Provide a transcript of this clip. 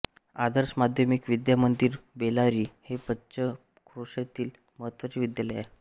आदर्श माध्यमिक विद्यामंदिर बेलारी हे पंचक्रोशीतील महत्त्वाचे विद्यालय आहे